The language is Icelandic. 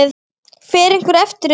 Fer einhver eftir því?